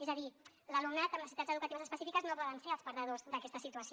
és a dir l’alumnat amb necessitats educatives específiques no poden ser els perdedors d’aquesta situació